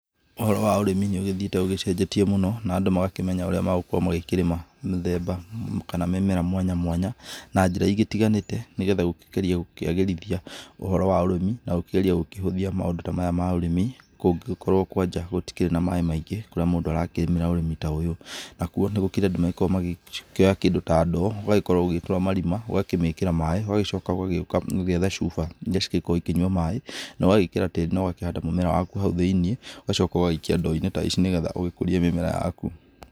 Ũhoro wa ũrĩmi nĩ ũgĩthiĩte ũgĩcenjetie mũno na andũ magakĩmenya ũrĩa magũkorwo magĩkĩrĩma mĩthemba kana mĩmera mwanya mwanya na njĩra igĩtiganĩte nĩgetha gũkĩgeria gũkĩagĩrithia ũhoro wa ũrĩmi na gũkĩgeria gũkĩhũthia maũndũ maya ta ma ũrĩmi kũngĩgĩkorwo kwanja gũtigĩkĩrĩ na maĩ maingĩ kũrĩa mũndũ arakĩrĩmĩra ũrĩmi ta ũyũ. Nakuo nĩ gũkĩrĩ andũ magĩkoragwo magĩkĩoya kĩndũ ta ndoo ũgakorwo ũgĩĩtũra marima, ũgakĩmĩkĩra maĩ, ũgagĩcoka ũgagĩũka ũgetha cuba iria cikoragwo igĩkĩnyua maĩ, na ũgagĩkĩra tĩri na ũgakĩhanda mũmera waku hau thĩinĩ ũgacoka ũgagĩikia ndoo-inĩ ta ici nĩgetha ũgĩkũrie mĩmera yaku.